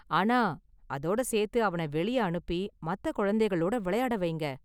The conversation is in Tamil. ஆனா, அதோட சேர்த்து அவன வெளியே அனுப்பி மத்த குழந்தைகளோட விளையாட வைங்க.